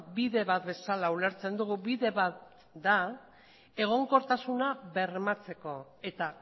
bide bat bezala ulertzen dugu bide bat da egonkortasuna bermatzeko eta